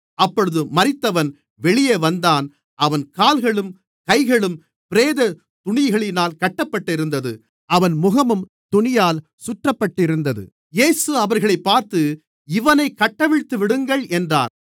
அப்பொழுது மரித்தவன் வெளியே வந்தான் அவன் கால்களும் கைகளும் பிரேதத் துணிகளினால் கட்டப்பட்டிருந்தது அவன் முகமும் துணியால் சுற்றப்பட்டிருந்தது இயேசு அவர்களைப் பார்த்து இவனைக் கட்டவிழ்த்துவிடுங்கள் என்றார்